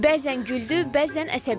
Bəzən güldü, bəzən əsəbləşdi.